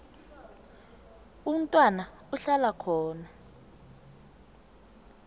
umntwana ahlala khona